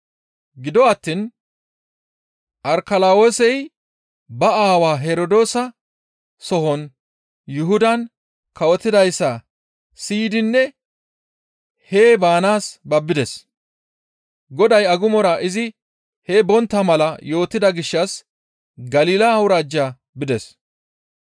Gido attiin Arkalawoosey ba aawa Herdoosa sohon Yuhudan kawotidayssa siyidinne hee baanaas babbides; Goday agumora izi hee bontta mala yootida gishshas Galila awuraajja bides.